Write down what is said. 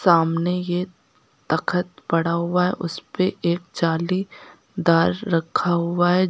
सामने ये तखत पड़ा हुआ है उसपे एक जाली दार रखा हुआ है।